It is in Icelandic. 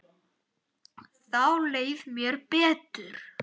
Þá leið mér betur.